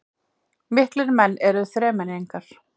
Miklir menn eru þeir þremenningar